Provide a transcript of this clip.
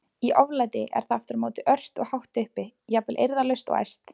Í oflæti er það aftur á móti ört og hátt uppi, jafnvel eirðarlaust og æst.